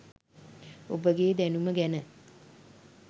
ඔබගේ දැනුම ගැන